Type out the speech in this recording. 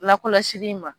Lakɔlɔsili in ma